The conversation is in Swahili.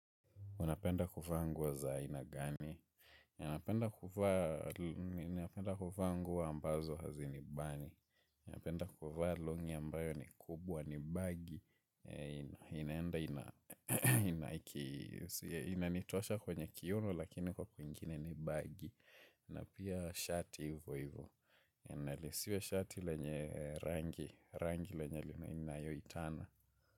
Unapenda kuvaa nguo za ainagani? Ninapenda kuvaa nguo ambazo hazinibani. Ninapenda kuvaa longi ambayo ni kubwa ni baggy. Inanitosha kwenye kiuno lakini huko kwingine ni baggy. Na pia shati hivo hivo. Nalisiwe shati lenye rangi. Rangi lenye lina yoitana.